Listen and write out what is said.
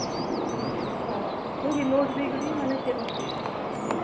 ହଁ ମାନେ note ଦେଇକରି ମାନେ କଷ୍ଟିଆ